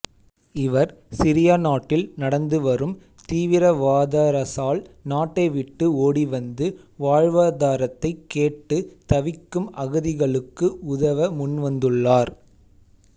இவர் சிரியா நாட்டில் நடந்து வரும் தீவிரவாதாரசால் நாட்டை விட்டு ஓடிவந்து வாழ்வாதாரத்தை கேட்டு தவிக்கும் அகதிகளுக்கு உதவ முன்வந்துள்ளார்